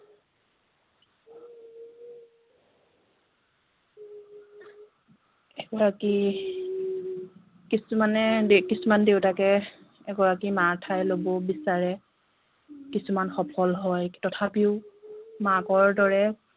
এগৰাকী কিছুমানে কি কিছুমান দেউতাকে এগৰাকী মাৰ ঠাই লব বিচাৰে কিছুমান সফল হয় তথাপিও মাকৰ দৰে